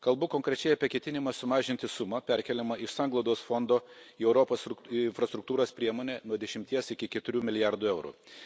Kalbu konkrečiai apie ketinimą sumažinti sumą, perkeliamą iš Sanglaudos fondo į Europos infrastruktūros priemonę, nuo dešimties iki keturių milijardų eurų.